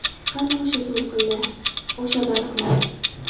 Qani o‘sha to‘lqinlar, o‘sha baliqlar?